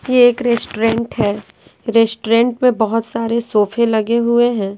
ये एक रेस्टोरेंट है रेस्टोरेंट में बहुत सारे सोफे लगे हुए हैं।